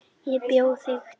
Ég bjó þig til.